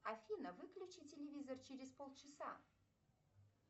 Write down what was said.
афина выключи телевизор через пол часа